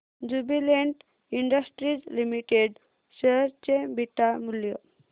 Jubilant Industries Limited share चे beta मूल्य